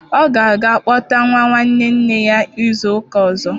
Ọ ga-aga kpọta nwa nwanne nne ya izu ụka ọzọ.